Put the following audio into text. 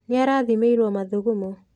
Nĩ arathĩmĩirwo mathugumo.